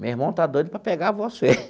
Meu irmão está doido para pegar você.